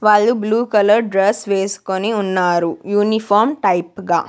వాళ్లు blue colour dress వేస్కొని ఉన్నారు యూనిఫామ్ టైప్ గా.